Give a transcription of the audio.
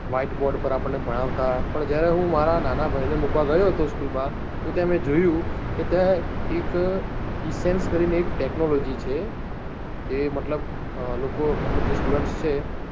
White board પર આપણને ભણાવતા પણ જ્યારે હું મારા નાના ભાઈ ને મુકવા ગયો તો school માં તો ત્યાં મેં જોયું કે ત્યાં એક essence કરી ને એક technology છે જે મતલબ લોકો મતલબ જે student છે